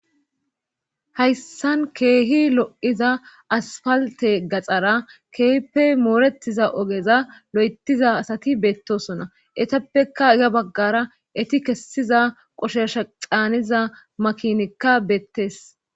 hayssan keehi lo7iza asfalte gaxara keehippe mooretiza ogeza lo7etiza asati beettosona etappekka iya baggara eti kessiza qoshesha caaniza makinikka beettes